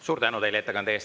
Suur tänu teile ettekande eest!